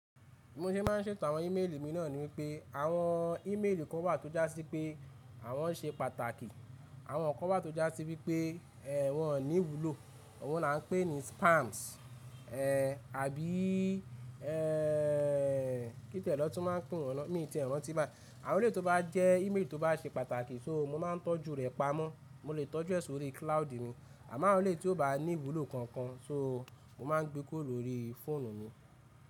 Bi mo ṣe maá ń ṣètò àwọn ímeèlì mi náà níwípé àwọn ímeèlì kan wà tó jásí pé àwọn ṣe pàtàkì àwọn kan wà tó jásí wípé ẹ́ wọn ò ní ìwúlò, ọhun lá n pé ní spams ẹ́ àbí ẹ́ kí tiẹ̀ ni won tun máa ń pè wọ̀n nà mi n tí ẹ̀ ranti báyi, àwọn elẹ̀yi tó bá jẹ́ ímeèlì tó bá ṣe pàtàkì so mo máa ń tọ́jú rẹ̀ pamọ́, mo le tọ́jú ẹ̀ sórí cloud mi àmọ́ àwọn elẹ̀yi tí ó bá ní ìwúlò kankan, so mo máa ń gbé kúrò lórí fóònù mi.